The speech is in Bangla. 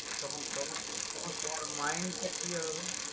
তখন তখন তখন তোমার mind টা কি হবে?